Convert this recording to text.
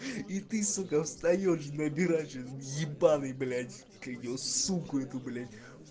и ты сука встаёшь набирать ебанный блять как его суку эту блять